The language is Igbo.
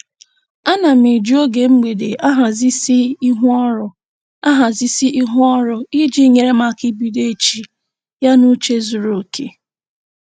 Ana m eji oge mgbede ahazisi ihu ọrụ ahazisi ihu ọrụ iji nyere m aka ibido echi ya n'uche zuru oke